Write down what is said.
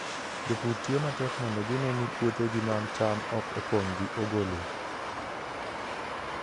Jopur tiyo matek mondo gine ni puothegi mag cham ok opong' gi ogolo.